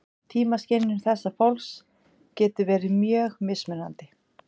Tímaskynjun þessa fólks getur verið mjög mismunandi.